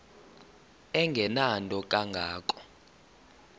engenanto kanga ko